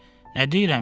Nə deyirəm ki?